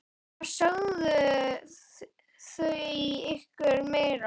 Hvað sögðu þau ykkur meira?